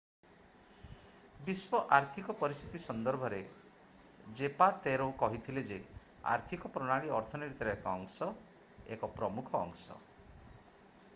ବିଶ୍ବ ଆର୍ଥିକ ପରିସ୍ଥିତି ସନ୍ଦର୍ଭରେ ଜେପାତେରୋ କହିଥିଲେ ଯେ ଆର୍ଥିକ ପ୍ରଣାଳୀ ଅର୍ଥନୀତିର ଏକ ଅଂଶ ଏକ ପ୍ରମୁଖ ଅଂଶ।